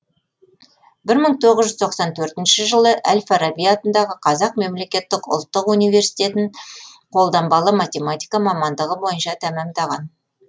бір мың тоғыз жүз тоқсан төртінші жылы әл фараби атындағы қазақ мемлекеттік ұлттық университетін қолданбалы математика мамандығы бойынша тәмамдаған